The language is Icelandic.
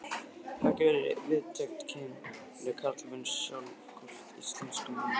Hafði ekki haft víðtæk kynni af karlmönnum sjálf, hvorki íslenskum né útlenskum.